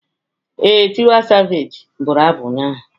Ee, Tiwa Savage bụrụ abụ ụnyaahụ.